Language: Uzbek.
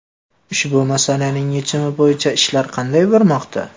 Ushbu masalaning yechimi bo‘yicha ishlar qanday bormoqda?